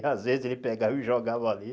Às vezes ele pegava e jogava ali.